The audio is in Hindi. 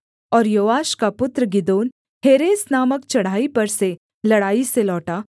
और योआश का पुत्र गिदोन हेरेस नामक चढ़ाई पर से लड़ाई से लौटा